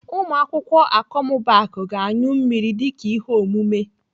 Ụmụ akwụkwọ Akọmmụbaaku ga-anyụ mmiri dịka ihe omume.